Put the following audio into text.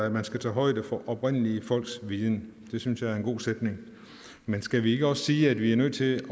at man skal tage højde for oprindelige folks viden det synes jeg er en god sætning men skal vi ikke også sige at vi er nødt til